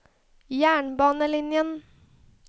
jernbanelinjen